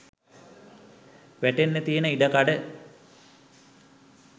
වැටෙන්න තියෙන ඉඩකඩ